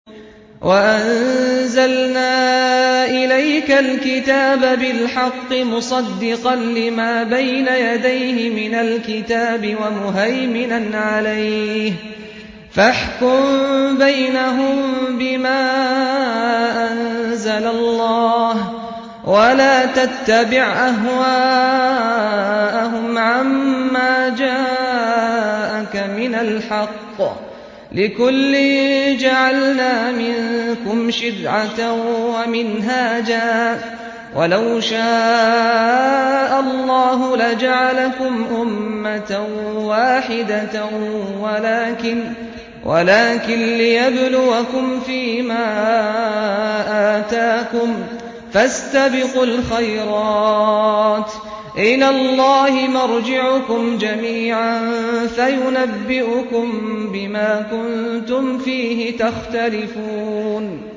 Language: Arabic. وَأَنزَلْنَا إِلَيْكَ الْكِتَابَ بِالْحَقِّ مُصَدِّقًا لِّمَا بَيْنَ يَدَيْهِ مِنَ الْكِتَابِ وَمُهَيْمِنًا عَلَيْهِ ۖ فَاحْكُم بَيْنَهُم بِمَا أَنزَلَ اللَّهُ ۖ وَلَا تَتَّبِعْ أَهْوَاءَهُمْ عَمَّا جَاءَكَ مِنَ الْحَقِّ ۚ لِكُلٍّ جَعَلْنَا مِنكُمْ شِرْعَةً وَمِنْهَاجًا ۚ وَلَوْ شَاءَ اللَّهُ لَجَعَلَكُمْ أُمَّةً وَاحِدَةً وَلَٰكِن لِّيَبْلُوَكُمْ فِي مَا آتَاكُمْ ۖ فَاسْتَبِقُوا الْخَيْرَاتِ ۚ إِلَى اللَّهِ مَرْجِعُكُمْ جَمِيعًا فَيُنَبِّئُكُم بِمَا كُنتُمْ فِيهِ تَخْتَلِفُونَ